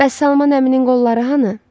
Bəs Salman əminin qolları hanı?